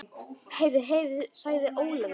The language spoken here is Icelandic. Heyr, heyr sagði Ólafur.